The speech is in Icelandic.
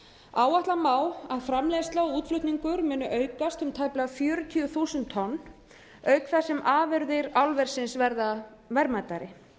áætla má að framleiðsla og útflutningur muni aukast um tæplega fjörutíu þúsund tonn auk þess sem afurðir álversins verða verðmætari